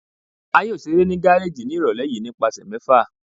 A yoo ṣere ni gareji ni irọlẹ yii nipasẹ mẹfa